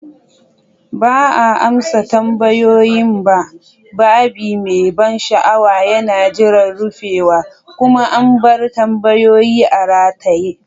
Ba a amsa tambayoyin ba, babi mai ban sha'awa yana jiran rufewa, kuma an bar tambayoyi a rataye.